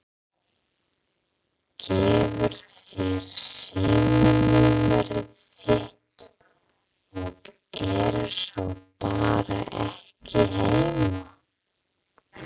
Gefur þér símanúmerið þitt og er svo bara ekki heima.